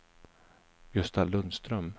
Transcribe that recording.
Gösta Lundström